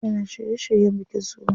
Yana shirye shiryen bikin sunan.